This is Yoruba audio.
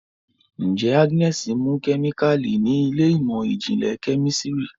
njé Agnes mú kemikali ní Ilé ìmọ̀n-jinlẹ Kẹ́mísìrì